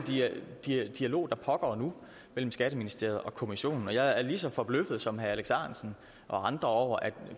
dialog der pågår nu mellem skatteministeriet og kommissionen jeg er lige så forbløffet som herre alex ahrendtsen og andre over at